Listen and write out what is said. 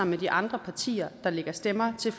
med de andre partier der lægger stemmer til